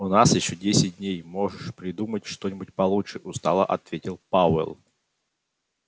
у нас ещё десять дней можешь придумать что-нибудь получше устало ответил пауэлл